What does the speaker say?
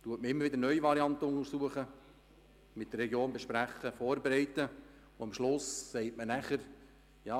Man hat immer neue Varianten untersucht, sie mit der Region besprochen, vorbereitet, und am Schluss sagt man nachher: